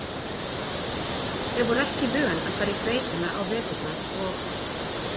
Þau voru ekki vön að fara í sveitina á veturna og